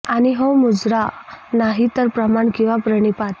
आणि हो मुजरा नाही तर प्रणाम किंवा प्रणिपात